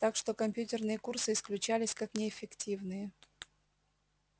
так что компьютерные курсы исключались как неэффективные